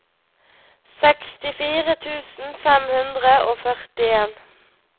sekstifire tusen fem hundre og førtien